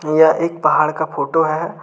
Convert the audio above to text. यह एक पहाड़ का फोटो है।